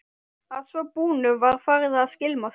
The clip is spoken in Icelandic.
Að svo búnu var farið að skylmast.